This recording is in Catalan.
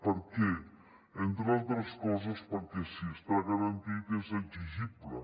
per què entre altres coses perquè si està garantit és exigible